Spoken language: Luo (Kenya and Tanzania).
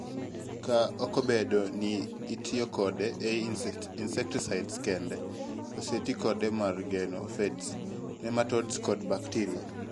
kaa okobedo ni itiyokode ei insecticides kende, osetii kode mar geng'o aphids, nematodes kod bacteria